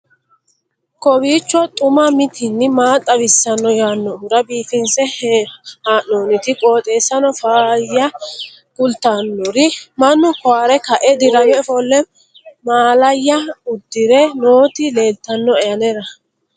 kowiicho xuma mtini maa xawissanno yaannohura biifinse haa'noonniti qooxeessano faayya kultannori mannu koware ka'e dirame ofolle mallaya udire nooti leeltannoe anera